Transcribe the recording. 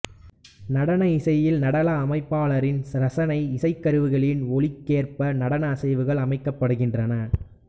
நடன இசையில் நடன அமைப்பாளரின் ரசனை இசைக்கருவிகளின் ஒலிக்கேற்ப நடன அசைவுகள் அமைக்கப்படுகின்றன